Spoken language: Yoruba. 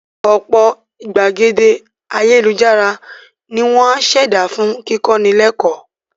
Ọ̀pọ̀ ìgbàgede ayélujára ni wọ́n á ṣẹ̀dá fún kíkọ́ni lẹ́kọ́ọ̀